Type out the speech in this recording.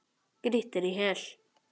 Grýttir í hel.